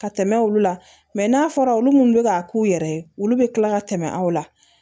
Ka tɛmɛ olu la n'a fɔra olu munnu bɛ ka k'u yɛrɛ ye olu bɛ kila ka tɛmɛ aw la